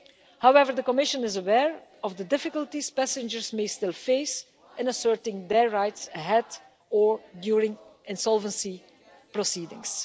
However, the Commission is aware of the difficulties passengers may still face in asserting their rights ahead of, or during, insolvency proceedings.